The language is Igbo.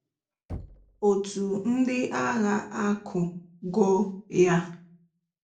Otú ndị agha akụ go ya